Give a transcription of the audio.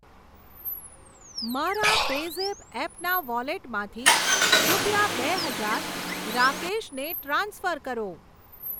મારા પેઝેપ એપના વોલેટમાંથી રૂપિયા બે હજાર રાકેશ ને ટ્રાન્સફર કરો.